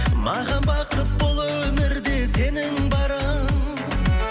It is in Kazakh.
маған бақыт бұл өмірде сенің барың